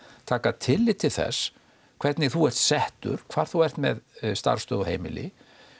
taka tillit til þess hvernig þú ert settur hvar þú ert með starfsstöð og heimili